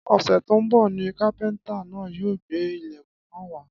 Ọ̀sẹ̀ tó ń bọ̀ ni kápẹ́ntà náà yóò gbé ilẹ̀kùn náà wá